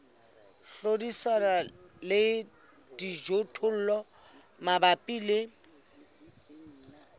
hlodisana le dijothollo mabapi le